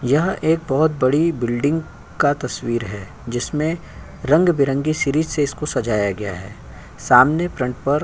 यह एक बहोत बड़ी बिल्डिंग का तस्वीर है जिसमे रंग बिरंगी सीरीज़ से इसको सजाया गया है सामने फ्रंट पर --